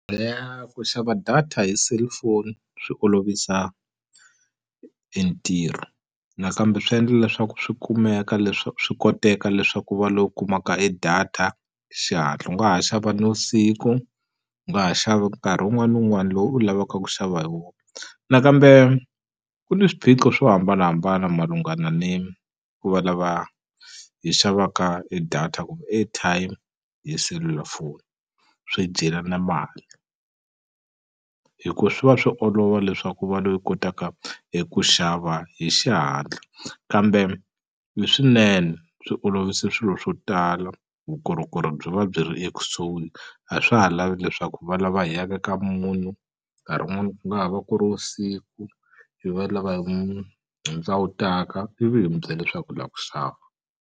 Ku xava data hi cellphone swi olovisa e ntirho nakambe swi endla leswaku swi kumeka leswaku swi koteka leswaku u va lowu u kumaka e data xihatla u nga ha xava nivusiku u nga ha xava nkarhi wun'wani ni wun'wani lowu u lavaka ku xava hi wona nakambe ku ni swiphiqo swo hambanahambana malungana ni ku va lava hi xavaka e data kumbe airtime hi selulafoni swi dyelana mali hi ku swi va swi olova leswaku u va loyi u kotaka hi ku xava hi xihatla kambe i swinene swi olovise swilo swo tala vukorhokeri byi va byi ri ekusuhi a swa ha lavi leswaku hi va lava hi ya ka ka munhu nkarhi wun'wani ku nga ha va ku ri vusiku hi vanhu lava hi hi ndzawutaka ivi hi mi byela leswaku hi la ku xava.